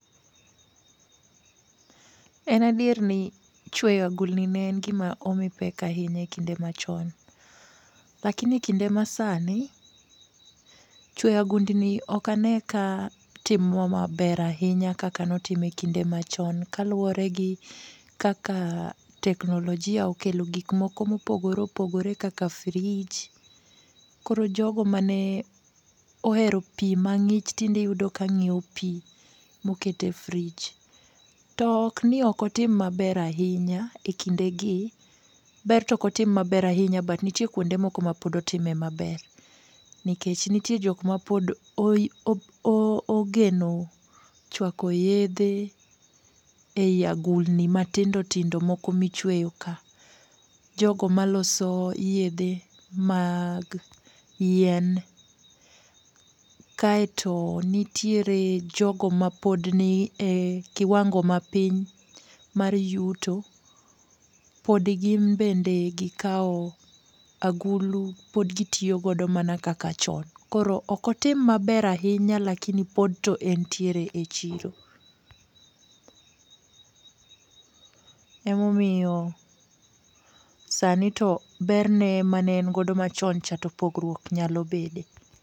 En adier ni chweyo agulni ne en gima omi pek ahinya e kinde machon. Lakini kinde ma sani, chweyo agundni ok ane ka timo maber ahinya kaka notimo e kinde machon kaluwore gi kaka teknolojia okelo gikmoko mopogore opogore kaka fridge. Koro jogo mane ohero pi mang'ich tinde iyudo ka nyiewo pi moket e fridge. To okni ok otim maber ahinya e kindegi, ber to ok otim maber ahinya but nitie kwonde moko mapod otime maber, nikech nitie jok mapod ogeno chwako yedhe ei agulni matindo tindo moko michweyoka. Jogo maloso yedhe mag yien, kaeto nitiere jogo mapod ni e kiwango mapiny mar yuto . Pod gidhi mbele gi kawo agulu. Pod gitiyo godo mana kaka chon. Koro ok otim maber ahinya lakini pod to entiere e chiro.